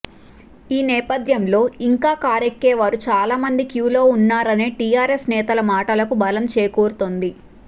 ఈ నేపథ్యంలో ఇంకా కారెక్కేవారు చాలామంది క్యూ లో ఉన్నారనే టీఆర్ఎస్ నేతల మాటలకు బలం చేకూరుతోంది